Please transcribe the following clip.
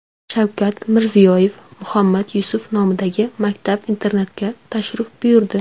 Shavkat Mirziyoyev Muhammad Yusuf nomidagi maktab-internatga tashrif buyurdi.